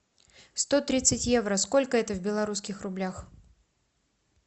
сто тридцать евро сколько это в белорусских рублях